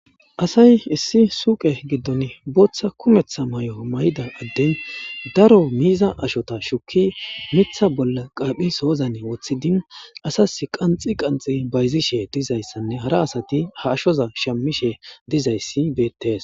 Asay issi suuqe giddon booththa kumeththa mayo mayida adden daro miiza ashota shukki mitha bolla qaaphi soozane woththidin asas qanxi qanxi bayzishe diza issanne hara asati ha ashoza shamishe diza issi beettes.